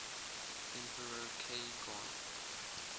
emperor k gon